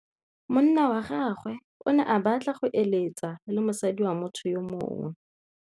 Monna wa gagwe o ne a batla go êlêtsa le mosadi wa motho yo mongwe.